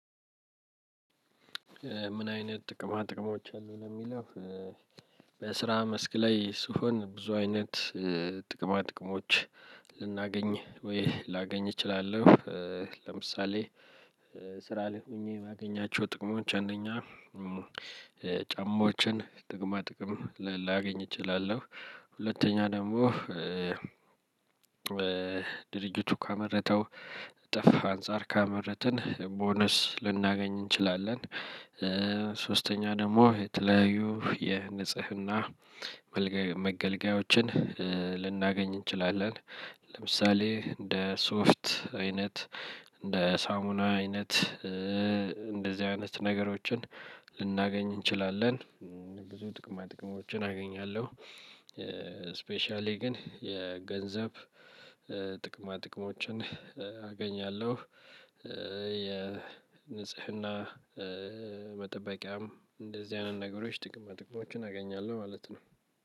ምን አይነት ጥቅማ ጥቅሞች አሉ ለሚለው በስራ መስክ ላይ ስሆን ብዙ አይነት ጥቅማ ጥቅሞችን ልናገኝ ወይ ላገኝ እችላለሁ። ለምሳሌ ስራ ላይ ሆኜ የማገኛቸው ጥቅሞች አንደኛ ጫማዎችን ጥቅማ ጥቅም ላገኝ እችላለሁ ሁለተኛ ደግሞ ድርጅቱ ካመረተው ትርፍ አንፃር ካመረትን ቦነስ ልናገኝ እንችላለን። ሶስተኛ ደግሞ የተለያዩ የንጽህና መገልገያዎችን ልናገኝ እንችላለን። ለምሳሌ እንደ ሶፍት አይነት፣ እንደ ሳሙና አይነት እ እንደዚ አይነት ነገሮችን ልናገኝ እንችላለን ብዙ ጥቅማ ጥቅሞችን አገኛለሁ። ስፔሻሊ ግን የገንዘብ ጥቅማ ጥቅሞችን አገኛለሁ። እ የንጽህና መጠበቂያም እንደዚህ አይነት ነገሮች ጥቅማ ጥቅሞችን አገኛለሁ ማለት ነው።